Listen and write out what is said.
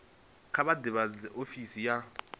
kha vha ḓivhadze ofisi ya